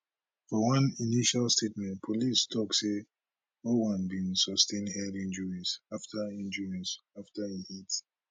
for one initial statement police tok say ojwang bin sustain head injuries afta injuries afta e hit